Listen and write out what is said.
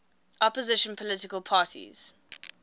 opposition political parties